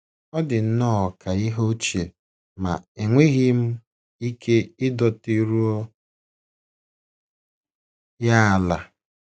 Ọ dị nnọọ ka ihe ochie ma enweghị m ike idoteruo ya ala